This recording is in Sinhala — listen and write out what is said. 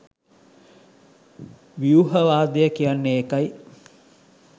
ව්‍යුහවාදය කියන්නේ ඒකයි.